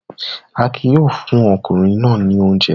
Akin yóò fún ọkùnrin náà ní oúnjẹ.